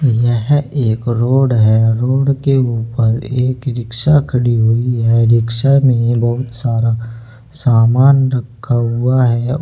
यह एक रोड है रोड के ऊपर एक रिक्शा खड़ी हुई है रिक्शा में बहुत सारा सामान रखा हुआ है।